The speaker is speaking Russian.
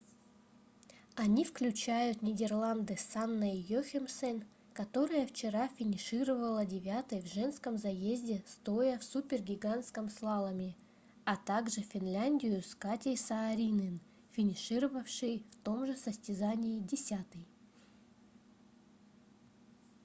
они включают нидерланды с анной йохемсен которая вчера финишировала девятой в женском заезде стоя в супергигантском слаломе а также финляндию с катей сааринен финишировавшей в том же состязании десятой